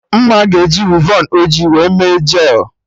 Mma ga-eji wivon ọjị wee mee jel